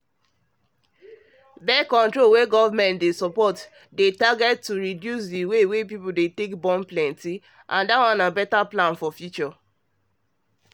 birth-control wey government dey support dey target to reduce the way people dey plenty as better future plan